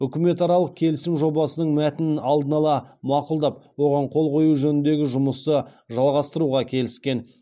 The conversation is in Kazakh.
үкіметаралық келісім жобасының мәтінін алдын ала мақұлдап оған қол қою жөніндегі жұмысты жалғастыруға келіскен